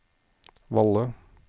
Valle